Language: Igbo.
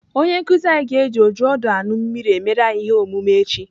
Onye nkụzi anyị ga-eji ojiọdụanụmmiri emere anyị ihe omume echi.